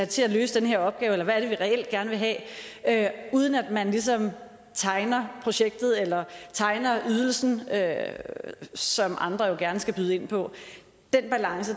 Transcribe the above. til at løse den her opgave eller hvad er det vi reelt gerne vil have uden at man ligesom tegner projektet eller tegner ydelsen som andre jo gerne skal byde ind på